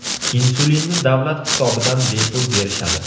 Insulinni davlat hisobidan bepul berishadi.